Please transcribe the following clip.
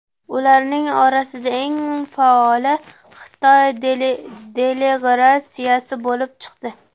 Ularning orasida eng faoli Xitoy delegratsiyasi bo‘lib chiqdi.